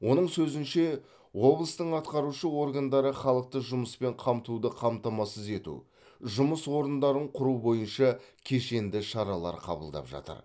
оның сөзінше облыстың атқарушы органдары халықты жұмыспен қамтуды қамтамасыз ету жұмыс орындарын құру бойынша кешенді шаралар қабылдап жатыр